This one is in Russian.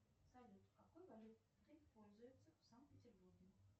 салют какой валютой пользуются в санкт петербурге